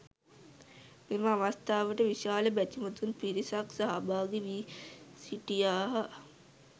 මෙම අවස්ථාවට විශාල බැතිමතුන් පිරිසක් සහභාගී වී සිටියහ.